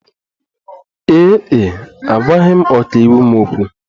Ee e, agwaghị m ọkàiwu m okwu.